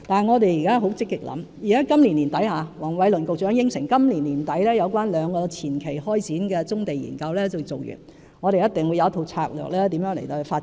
我們現正積極想辦法，黃偉綸局長亦已承諾，今年年底將會完成兩個前期開展的棕地研究，我們一定會有一套發展棕地的策略。